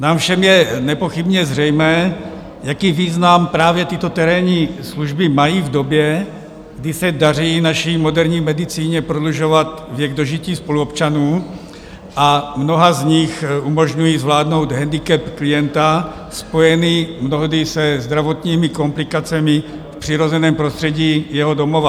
Nám všem je nepochybně zřejmé, jaký význam právě tyto terénní služby mají v době, kdy se daří naší moderní medicíně prodlužovat věk dožití spoluobčanů a mnoha z nich umožňují zvládnout hendikep klienta spojený mnohdy se zdravotními komplikacemi v přirozeném prostředí jeho domova.